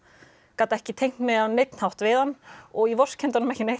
gat ekki tengt mig á neinn hátt við hann og ég vorkenndi honum ekki